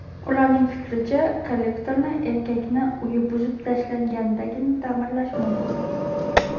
Ularning fikricha, kollektorni erkakning uyi buzib tashlangandagina ta’mirlash mumkin.